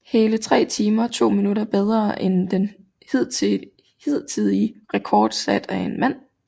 Hele 3 timer 2 min bedre end den hidtidige rekord sat af en mand